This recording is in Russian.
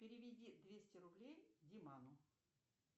переведи двести рублей диману